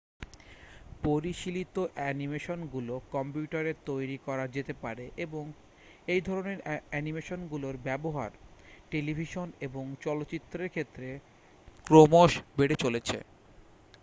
পরিশীলিত অ্যানিমেশনগুলো কম্পিউটারে তৈরি করা যেতে পারে এবং এইধরণের অ্যানিমেশনগুলোর ব্যবহার টেলিভিশন এবং চলচ্চিত্রের ক্ষেত্রে ক্রমশবেড়ে চলেছে